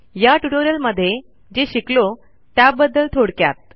या ट्युटोरियलमध्ये जे शिकलो त्याबद्दल थोडक्यात